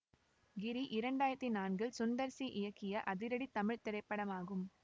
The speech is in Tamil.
கிரி இரண்டு ஆயிரத்தி நான்கில் சுந்தர் சி இயக்கிய அதிரடி தமிழ் திரைப்படமாகும்